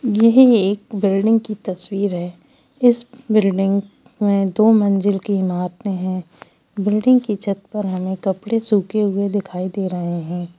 यह एक बिल्डिंग की तस्वीर है इस बिल्डिंग में दो मंजिल की इमारते है बिल्डिंग के छत पर हमें कपड़े सूखे हुए दिखाई दे रहे हैं।